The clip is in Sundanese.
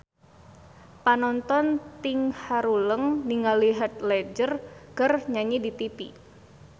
Panonton ting haruleng ningali Heath Ledger keur nyanyi di tipi